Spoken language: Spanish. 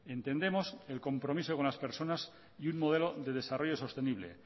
entendemos el compromiso con las personas y un modelo de desarrollo sostenible